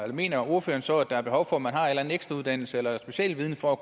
mener ordføreren så at der er behov for at man har en ekstra uddannelse eller specialviden for